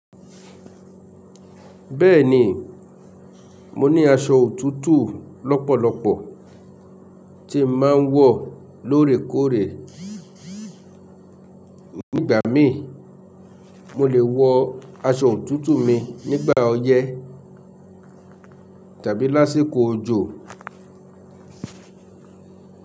Bẹ́ẹ̀ni, mo ní aṣọ òtútù lọ́pọ̀lọpọ̀ tí mà ń wọ̀ lórekóòrẹ. Nígbàmí i, mo lè wọ aṣọ òtútù mi nígbà ọyẹ́ tàbí lásíkò òjò.